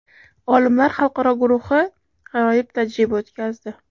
Olimlar xalqaro guruhi g‘aroyib tajriba o‘tkazdi.